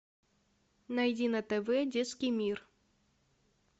найди на тв детский мир